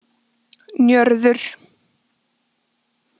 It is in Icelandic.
Njörður